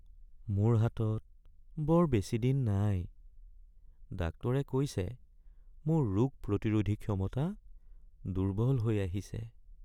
মোৰ হাতত বৰ বেছিদিন নাই। ডাক্তৰে কৈছে মোৰ ৰোগ প্ৰতিৰোধী ক্ষমতা দুৰ্বল হৈ আহিছে।